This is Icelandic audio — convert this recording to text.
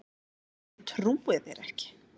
Ég trúi þér ekki.